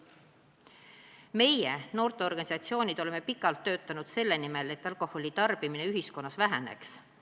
Mitmed noorteorganisatsioonid on pikalt töötanud selle nimel, et alkoholi tarbimine ühiskonnas väheneks.